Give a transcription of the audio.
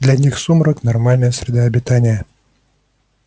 для них сумрак нормальная среда обитания